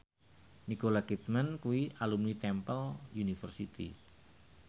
Nicole Kidman kuwi alumni Temple University